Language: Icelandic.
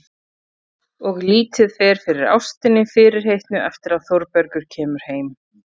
Og lítið fer fyrir ástinni fyrirheitnu eftir að Þórbergur kemur heim.